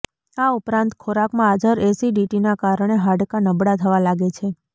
આ ઉપરાંત ખોરાકમાં હાજર એસિડિટીના કારણે હાડકાં નબળા થવા લાગે છે